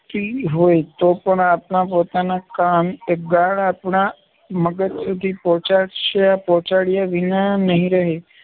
રુચતી હોય તોપણ આપણા પોતાના કાન એ ગાળ આપણા મગજ સુધી પહોંચાડ્યા વિના નહિ રહે.